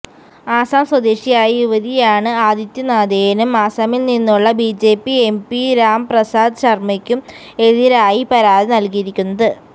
അസം സ്വദേശിയായ യുവതിയാണ് ആദിത്യനാഥിനും അസമിൽനിന്നുള്ള ബിജെപി എംപി രാം പ്രസാദ് ശർമയ്ക്കും എതിരായി പരാതി നൽകിയിരിക്കുന്നത്